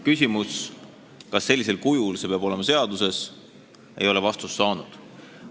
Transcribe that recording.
Küsimus, kas see peab olema sellisel kujul seaduses, ei ole vastust saanud.